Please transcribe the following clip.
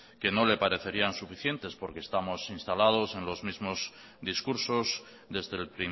que no le parecerían suficientes porque estamos instalados en los mismo discursos desde el